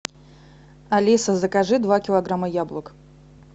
алиса закажи два килограмма яблок